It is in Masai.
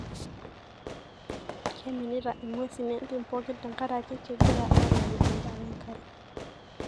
keiminita ingwesin entim pooki tenkaraki kengira alayu endaa wenkare.